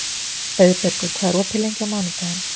Auðbergur, hvað er opið lengi á mánudaginn?